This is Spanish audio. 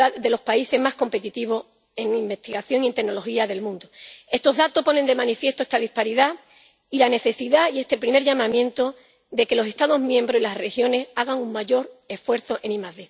los países más competitivos en investigación y en tecnología del mundo. Estos datos ponen de manifiesto esta disparidad y la necesidad —y este es el primer llamamiento— de que los Estados miembros y las regiones hagan un mayor esfuerzo en ID.